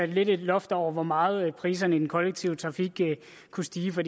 lidt af et loft over hvor meget priserne i den kollektive trafik kunne stige for